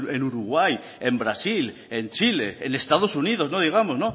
en uruguay en brasil en chile en estados unidos no digamos